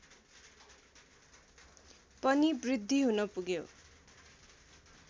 पनि वृद्धि हुन् पुग्यो